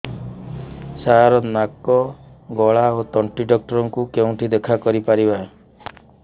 ସାର ନାକ ଗଳା ଓ ତଣ୍ଟି ଡକ୍ଟର ଙ୍କୁ କେଉଁଠି ଦେଖା କରିପାରିବା